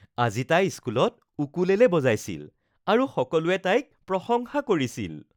আজি তাই স্কুলত উকুলেলে বজাইছিল আৰু সকলোৱে তাইক প্ৰশংসা কৰিছিল